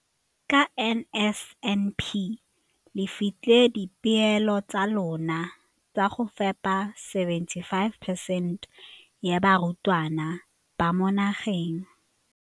Ka NSNP le fetile dipeelo tsa lona tsa go fepa masome a supa le botlhano a diperesente ya barutwana ba mo nageng.